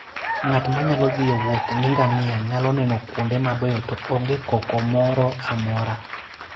Ng'at ma thi e wuoth gi ngamia nyalo neno kuonde mabeyo to onge koko moro amora.